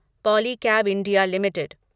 Polycab India limited